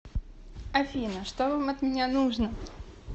афина что вам от меня нужно